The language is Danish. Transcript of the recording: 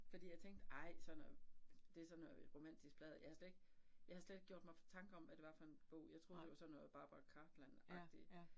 Fordi jeg tænkte, ej sådan noget, det sådan noget romantisk pladder, jeg havde slet ikke, jeg havde slet ikke gjort mig tanker om, hvad det var for en bog, jeg troede det var sådan noget Barbara Cartland agtigt